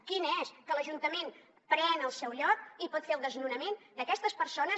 quina és que l’ajuntament pren el seu lloc i pot fer el desnonament d’aquestes persones